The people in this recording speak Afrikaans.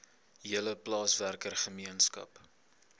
hele plaaswerker gemeenskap